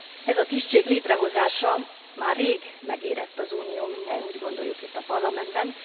Ez a tisztség létrehozása már rég megérett az Unió, mindnyájan úgy gondoljuk itt a Parlamentben.